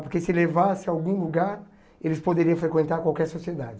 Porque se levasse a algum lugar, eles poderiam frequentar qualquer sociedade.